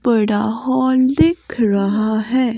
बड़ा हॉल दिख रहा है।